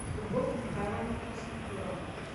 любовь михайловну красноперову